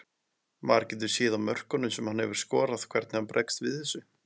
Maður getur séð á mörkunum sem hann hefur skorað hvernig hann bregst við þessu.